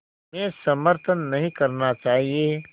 में समर्थन नहीं करना चाहिए